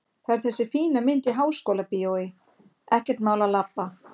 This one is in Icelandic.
Það er þessi fína mynd í Háskólabíói, ekkert mál að labba!